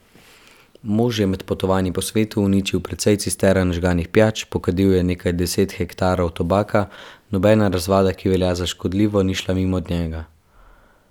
Mož je med potovanji po svetu uničil precej cistern žganih pijač, pokadil je nekaj deset hektarov tobaka, nobena razvada, ki velja za škodljivo, ni šla mimo njega.